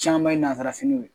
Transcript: Caman ye nanzarafiniw ye